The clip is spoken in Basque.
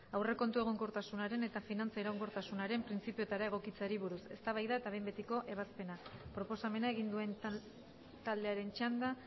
aurrekontu egonkortasunaren eta finantza iraunkortasunaren printzipioetara egokitzeari buruz eztabaida eta behin betiko ebazpena proposamena egin duen taldearen txanda